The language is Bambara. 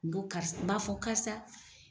N ko karisa n b'a fɔ karisa.